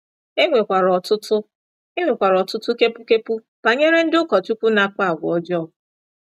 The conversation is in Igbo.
E nwekwara ọtụtụ E nwekwara ọtụtụ kepu kepu banyere ndị ụkọchukwu na-akpa àgwà ọjọọ.